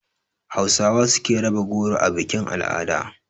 Hausawa su suke raba goro a bikin-al'ada.